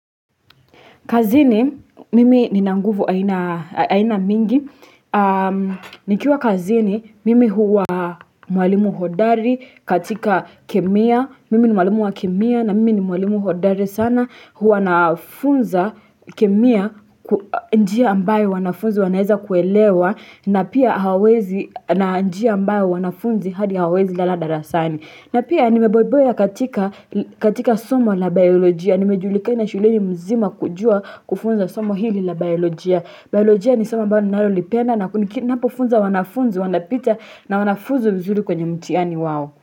Kazini, mimi nina nguvu aina mingi, nikiwa kazini, mimi huwa mwalimu hodari katika kemia, mimi ni mwalimu wa kemia na mimi ni mwalimu hodari sana, huwa nafunza kemia, njia ambayo wanafunzi wanaeza kuelewa, na njia ambayo wanafunzi hadi hawaezi lala darasani. Na pia nimeboiboya katika somo la biolojia. Nimejulikana shuleni mzima kujua kufunza somo hili la biolojia. Biolojia ni somo ambao ninalolipenda na kuniki napofunza wanafunzi, wanapita na wanafunzwa vizuri kwenye mtihani wao.